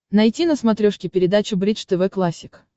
найти на смотрешке передачу бридж тв классик